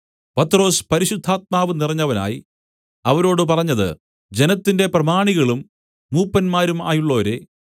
പത്രൊസ് പരിശുദ്ധാത്മാവ് നിറഞ്ഞവനായി അവരോട് പറഞ്ഞത് ജനത്തിന്റെ പ്രമാണികളും മൂപ്പന്മാരും ആയുള്ളോരേ